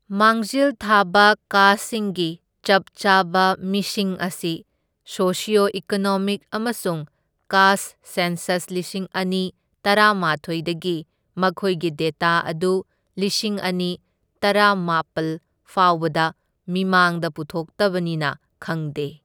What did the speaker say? ꯃꯥꯡꯖꯤꯜ ꯊꯥꯕ ꯀꯥꯁꯠꯁꯤꯡꯒꯤ ꯆꯞ ꯆꯥꯕ ꯃꯤꯁꯤꯡ ꯑꯁꯤ ꯁꯣꯁꯤꯑꯣ ꯏꯀꯣꯅꯣꯃꯤꯛ ꯑꯃꯁꯨꯡ ꯀꯥꯁꯠ ꯁꯦꯟꯁꯁ ꯂꯤꯁꯤꯡ ꯑꯅꯤ ꯇꯔꯥꯃꯥꯊꯣꯢꯗꯒꯤ ꯃꯈꯣꯢꯒꯤ ꯗꯦꯇꯥ ꯑꯗꯨ ꯂꯤꯁꯤꯡ ꯑꯅꯤ ꯇꯔꯥꯃꯥꯄꯜ ꯐꯥꯎꯕꯗ ꯃꯤꯃꯥꯡꯗ ꯄꯨꯊꯣꯛꯇꯕꯅꯤꯅ ꯈꯪꯗꯦ꯫